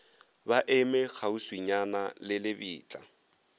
ba eme kgauswinyana le lebitla